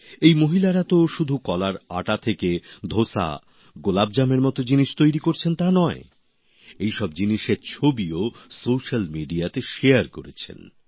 এই মহিলারা তো শুধু কলার আটা থেকে ধোসা গোলাপজামএর মত জিনিস তৈরি করেছেন তা নয় এইসব জিনিসের ছবিও সোশ্যাল মিডিয়াতে শেয়ার করেছেন